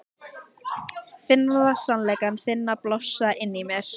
Finna sannleika þinn blossa inni í mér.